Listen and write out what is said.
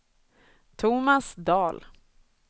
Thomas Dahl